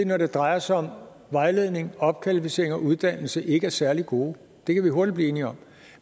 når det drejer sig om vejledning opkvalificering og uddannelse ikke er særlig gode det kan vi hurtigt blive enige om